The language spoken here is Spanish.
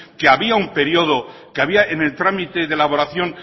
que había un periodo que había en el trámite de elaboración